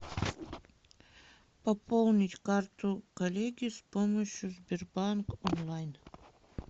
пополнить карту коллеги с помощью сбербанк онлайн